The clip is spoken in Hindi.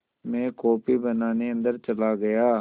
मैं कॉफ़ी बनाने अन्दर चला गया